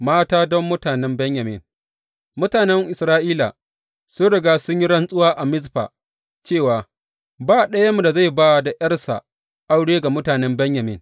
Mata don mutanen Benyamin Mutanen Isra’ila sun riga sun yi rantsuwa a Mizfa cewa, Ba ɗayanmu da zai ba da ’yarsa aure ga mutumin Benyamin.